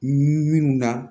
Minnu na